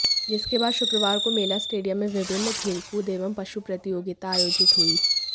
जिसके बाद शुक्रवार को मेला स्टेडियम में विभिन्न खेलकूद एवं पशु प्रतियोगिता आयोजित हुई